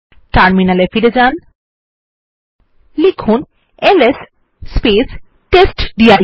terminal ফিরে যান এবং লিখুন এলএস টেস্টডির